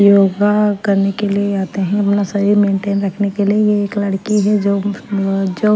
योगा करने के लिए आते हैं अपना शरीर मेंटेन रखने के लिए ये एक लड़की है अ जो--